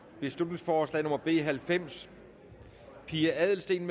beslutningsforslag nummer b halvfems pia adelsteen